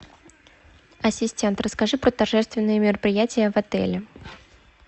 ассистент расскажи про торжественные мероприятия в отеле